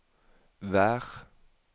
vær